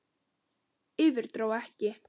Yfir- dró ekki!